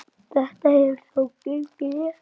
Þetta hefur þó gengið vel.